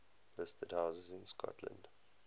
listed houses in scotland